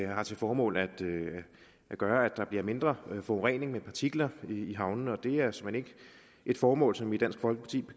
har til formål at gøre at der bliver mindre forurening med partikler i havnene og det er såmænd ikke et formål som vi i dansk folkeparti